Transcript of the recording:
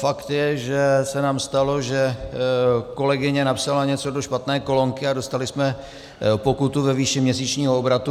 Fakt je, že se nám stalo, že kolegyně napsala něco do špatné kolonky a dostali jsme pokutu ve výši měsíčního obratu.